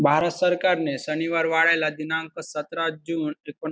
भारत सरकारने शनिवार वाड्याला दिनांक सतरा जून ऐकोन--